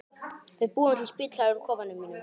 Við búum til spítala úr kofanum mínum.